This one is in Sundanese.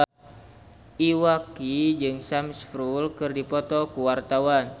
Iwa K jeung Sam Spruell keur dipoto ku wartawan